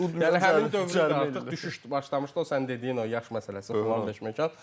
Yəni həmin dövrü də artıq düşüş başlamışdı o sənin dediyin o yaş məsələsi filan fişməkan.